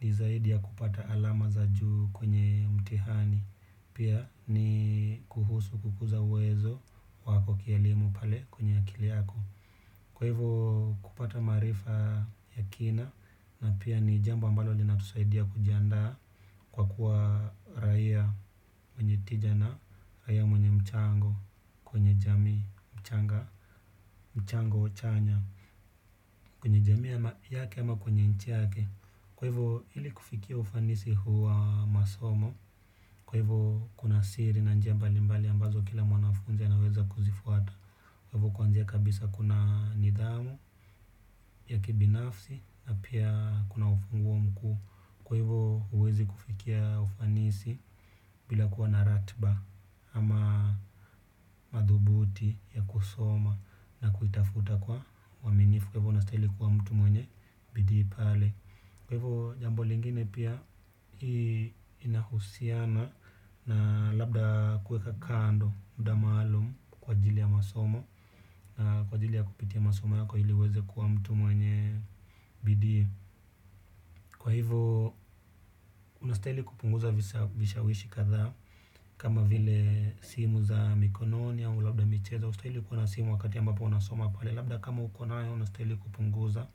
ni zaidi ya kupata alama za juu kwenye mtihani. Pia, ni kuhusu kukuza uwezo wako kielimu pale kwenye akili yako. Kwa hivyo kupata maarifa ya kina na pia ni jambo ambalo linatusaidia kujiandaa kwa kuwa raia wenye tija na, raia mwenye mchango kwenye jamii mchanga, mchango chanya, kwenye jamii yake ama kwenye nchi yake. Kwa hivyo ili kufikia ufanisi huwa masomo, kwa hivyo kuna siri na njia mbali mbali ambazo kila mwanafunzi anaweza kuzifuata. Kwa hivyo kwanza kabisa kuna nidhamu ya kibinafsi na pia kuna ufunguo mkuu. Kwa hivyo huwezi kufikia ufanisi bila kuwa na ratiba ama madhubuti ya kusoma na kuitafuta kwa uaminifu. Kwa hivyo unastahili kuwa mtu mwenye bidii pale. Kwa hivyo, jambo lingine pia inahusiana na labda kuweka kando muda maalum kwa ajili ya masomo na kwa ajili ya kupitia masomo yako ili uweze kuwa mtu mwenye bidii. Kwa hivyo, unastahili kupunguza vishawishi kadha kama vile simu za mikononi au labda michezo haustaili kuwa na simu wakati ambapo unasoma pale. Labda kama uko nayo unastahili kupunguza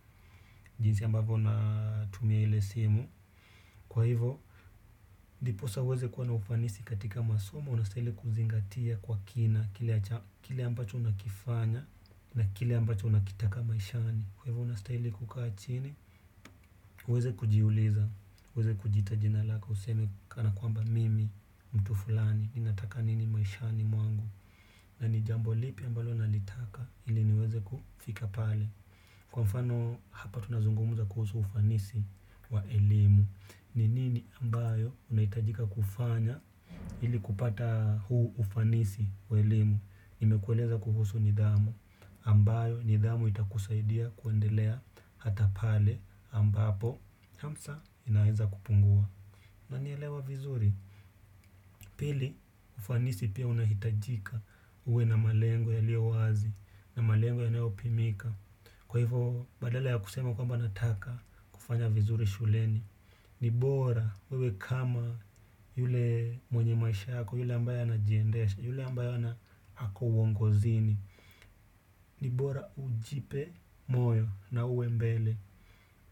jinsi ambavyo unatumia ile simu. Kwa hivyo, ndiposa uweze kuwa na ufanisi katika masomo, unastahili kuzingatia kwa kina, kile ambacho unakifanya, na kile ambacho unakitaka maishani. Kwa hivyo, unastahili kukaa chini, uweze kujiuliza, uweze kujiita jina lako, useme kana kwamba mimi, mtu fulani, ninataka nini maishani mwangu, na ni jambo lipi ambalo nalitaka, ili niweze kufika pale. Kwa mfano hapa tunazungumza kuhusu ufanisi wa elimu. Ni nini ambayo unahitajika kufanya ili kupata huu ufanisi wa elimu nimekueleza kuhusu nidhamu ambayo nidhamu itakusaidia kuendelea hata pale ambapo hamasa inaweza kupungua unanielewa vizuri? Pili ufanisi pia unahitajika uwe na malengo yaliyo wazi na malengo yanayopimika. Kwa hivyo, badala ya kusema kwamba nataka kufanya vizuri shuleni. Ni bora wewe kama yule mwenye maisha yako, yule ambaye anajiendesha, yule ambaye ako uongozini. Ni bora ujipe moyo na uwe mbele.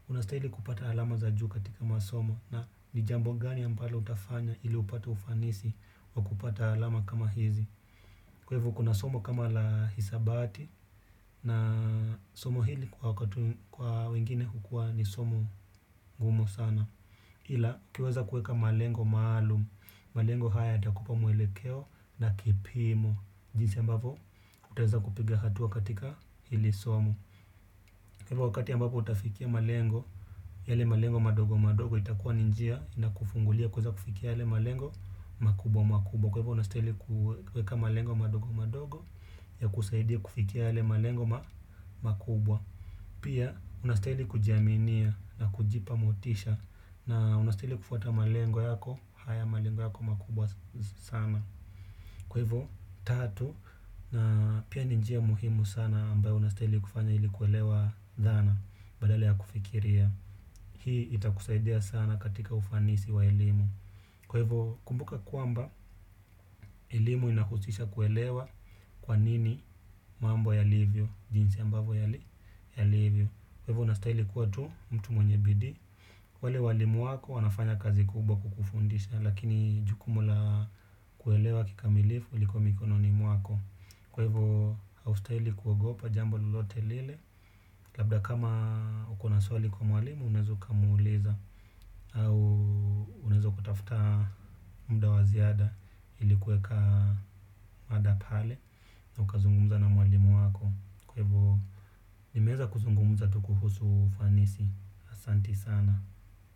Unastahili kupata alama za juu katika masomo na ni jambo gani ambalo utafanya ili upate ufanisi wa kupata alama kama hizi. Kwa hivyo kuna somo kama la hisabati na somo hili kwa wengine hukua ni somo gumu sana. Ila ukiweza kuweka malengo maalumu, malengo haya yatakupa mwelekeo na kipimo. Jinsi ambavyo utaweza kupiga hatua katika hili somo. Kwa hivyo wakati ambapo utafikia malengo, yale malengo madogo madogo itakua ni njia inakufungulia kuweza kufikia yale malengo makubwa makubwa. Kwa hivyo unastihili kuweka malengo madogo madogo yakusaidie kufikia yale malengo makubwa. Pia unastihili kujiaminia na kujipa motisha na unastihili kufuata malengo yako haya malengo yako makubwa sana. Kwa hivyo tatu na pia ni njia muhimu sana ambayo unastihili kufanya ili kuelewa dhana badala ya kufikiria. Hii itakusaidia sana katika ufanisi wa elimu. Kwa hivyo kumbuka kwamba elimu inahusisha kuelewa kwa nini mambo yalivyo jinsi ambavyo yalivyo. Kwa hivyo unastahili kuwa tu mtu mwenye bidii wale walimu wako wanafanya kazi kubwa kukufundisha. Lakini jukumu la kuelewa kikamilifu liko mikononi mwako. Kwa hivyo haustahili kuogopa jambo lolote lile. Labda kama uko na swali kwa walimu unaweza ukamwuliza au unaweza kutafuta muda wa ziada ili kuweka mada pale na ukazungumza na mwalimu wako kwa hivyo nimeweza kuzungumza tu kuhusu ufanisi asanti sana.